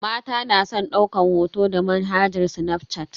Mata na san daukan hoto da manhajar snafshat.